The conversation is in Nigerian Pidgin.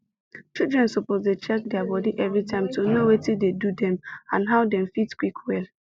children suppose dey check their body everytime to know watin dey do dem and how dem fit quick well